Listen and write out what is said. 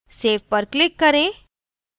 save पर click करें